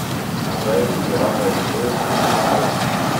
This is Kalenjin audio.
Mazoezi chepo melteet ak balance